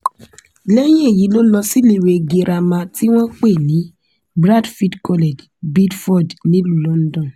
lẹ́yìn èyí ló lọ síléèwé girama tí wọ́n pè ní bradfield college beedford nílùú london